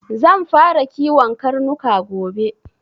Zan fara kiwon karnuka gobe.